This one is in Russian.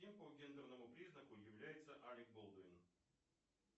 кем по гендерному признаку является алек болдуин